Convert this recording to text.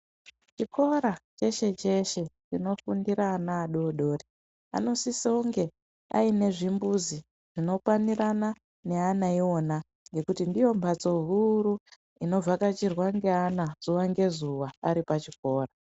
Chikora cheshe cheshe chinofundira ana adodori anosise kunge aine zvimbuzi zvinokwananira neana iona ngekuti ndiyo mhatso huru inovhakachirwa ngeana zuwa ngezuwa aripachikora .